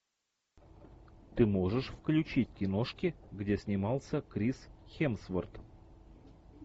ты можешь включить киношки где снимался крис хемсворт